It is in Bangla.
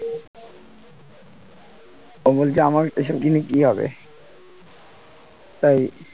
ও বলছে আমার এসব কিনে কি হবে তাই